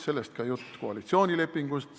Sellest ka jutt koalitsioonilepingust.